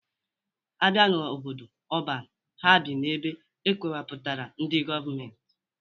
A bịa n'obodo ọban, ha bi n'ebe e kewepụtara ndị gọọmentị